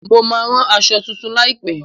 Mo máa ran aṣọ tuntun láìpẹ.